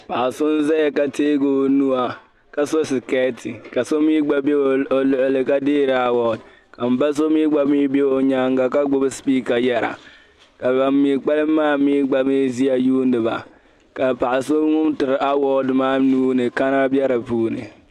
paɣ'so n zaya ka teegi o nuya ka so siketi ka so mii gba be o luɣili ka deeri award ka mba so mii gba mii be o nyaaŋa ka gbubi speaker yara ka ban mii kpalim maa mii gba mii ʒiya yuuni ba ka paɣ'so ŋun tiri award maa nuuni ka kana be di puuni.